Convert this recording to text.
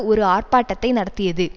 ஒரு ஆர்ப்பாட்டத்தை நடத்தியது